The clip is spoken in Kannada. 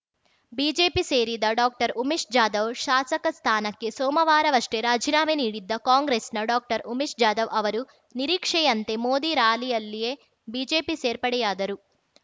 ಬಿಜೆಪಿ ಸೇರಿದ ಡಾಕ್ಟರ್ಉಮೇಶ್‌ ಜಾಧವ್‌ ಶಾಸಕ ಸ್ಥಾನಕ್ಕೆ ಸೋಮವಾರವಷ್ಟೇ ರಾಜೀನಾಮೆ ನೀಡಿದ್ದ ಕಾಂಗ್ರೆಸ್‌ನ ಡಾಕ್ಟರ್ಉಮೇಶ ಜಾಧವ್‌ ಅವರು ನಿರೀಕ್ಷೆಯಂತೆ ಮೋದಿ ರಾರ‍ಯಲಿಯಲ್ಲೇ ಬಿಜೆಪಿ ಸೇರ್ಪಡೆಯಾದರು